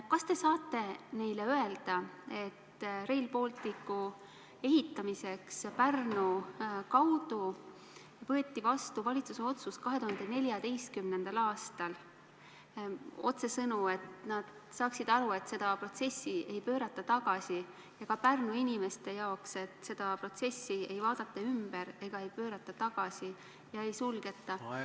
Kas te saate neile öelda, et Rail Balticu ehitamiseks Pärnu kaudu võeti 2014. aastal vastu valitsuse otsus – öelda neile otsesõnu, et nad saaksid aru, et seda protsessi ei pöörata tagasi, ja öelda ka Pärnu inimestele, et seda protsessi ei vaadata ümber, pöörata tagasi ega sulgeta?